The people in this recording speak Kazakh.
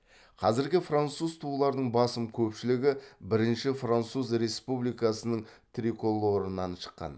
қазіргі француз туларының басым көпшілігі бірінші француз республикасының триколорынан шыққан